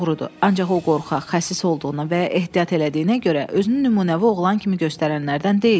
Ancaq o qorxaq, xəsis olduğuna və ya ehtiyat elədiyinə görə özünü nümunəvi oğlan kimi göstərənlərdən deyildi.